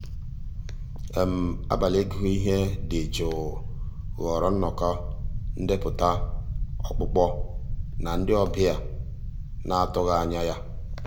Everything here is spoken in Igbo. àbàlí ị́gụ́ íhé um dị́ jụ́ụ́ ghọ́ọ́rà nnọ́kọ́ ndépụ́tà ọ́kpụ́kpọ́ ná ndị́ ọ̀bịá ná-àtụ́ghị́ um ànyá yá.